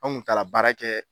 An kun taara baara kɛ